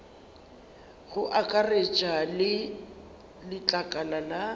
go akaretša le letlakala la